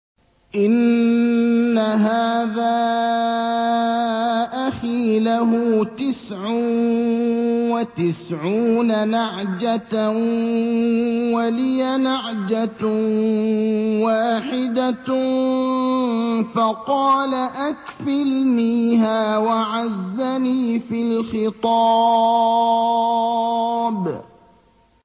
إِنَّ هَٰذَا أَخِي لَهُ تِسْعٌ وَتِسْعُونَ نَعْجَةً وَلِيَ نَعْجَةٌ وَاحِدَةٌ فَقَالَ أَكْفِلْنِيهَا وَعَزَّنِي فِي الْخِطَابِ